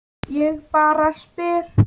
Ég bara spyr.